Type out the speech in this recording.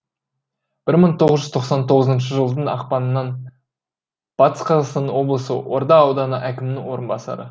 бір мың тоғыз жүз тоқсан тоғызыншы жылдың ақпанынан батыс қазақстан облысында орда ауданы әкімінің орынбасары